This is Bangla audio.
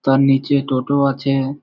তার নিচে টোটো আছে ।